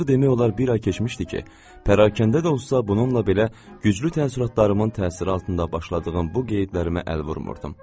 Artıq demək olar bir ay keçmişdi ki, pərakəndə də olsa bununla belə güclü təəssüratlarımın təsiri altında başladığım bu qeydlərimə əl vurmurdum.